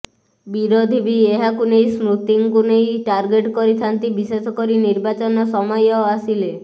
ବିରୋଧୀ ବି ଏହାକୁ ନେଇ ସ୍ମୃତିଙ୍କୁ ନେଇ ଟାର୍ଗେଟ କରିଥାନ୍ତି ବିଶେଷକରି ନିର୍ବାଚନ ସମୟ ଆସିଲେ